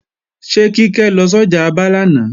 Ṣé Kíkẹ́ lọ sọ́jà Aba lánàá